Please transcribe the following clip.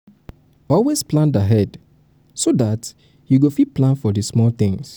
always plan ahead so dat you go fit plan for di small things